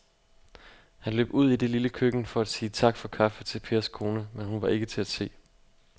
Han løb ud i det lille køkken for at sige tak for kaffe til Pers kone, men hun var ikke til at se.